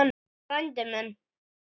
Frændi minn